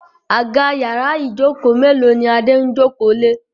Àga yàrá Ijoko melo ní Ade ń joko lẹ.